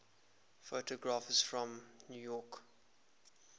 photographers from new york